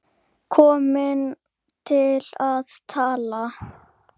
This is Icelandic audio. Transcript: Komin til að tala.